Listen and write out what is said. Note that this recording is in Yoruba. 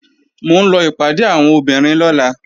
Mò ń lọ ìpàdé àwọn obìnrin lọ́la